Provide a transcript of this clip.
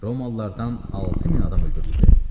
Romalılardan 6000 adam öldürüldü.